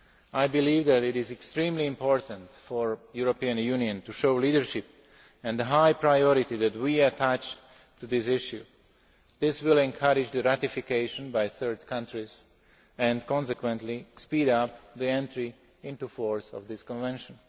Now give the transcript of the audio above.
I believe that it is extremely important for the European Union to show leadership and the high priority that we attach to this issue. This will encourage the ratification by third countries and consequently speed up the entry into force of this convention.